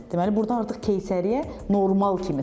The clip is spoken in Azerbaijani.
Deməli, burda artıq keysəriyyə normal kimi sayılır.